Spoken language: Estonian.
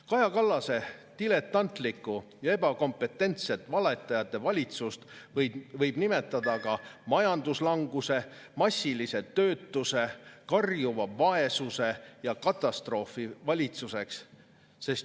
Kaja Kallase diletantlikku ja ebakompetentset valetajate valitsust võib nimetada ka majanduslanguse, massilise töötuse, karjuva vaesuse ja katastroofi valitsuseks.